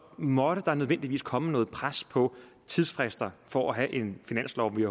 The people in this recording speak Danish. måtte der nødvendigvis komme noget pres på tidsfrister for at få en finanslov vi